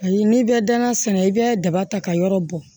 Ayi n'i bɛ danaya sɛnɛ i bɛ daba ta ka yɔrɔ bɔn